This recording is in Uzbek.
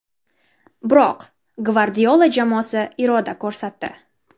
Biroq Gvardiola jamoasi iroda ko‘rsatdi.